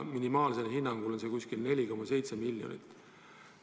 Hinnanguliselt on see minimaalselt kuskil 4,7 miljonit.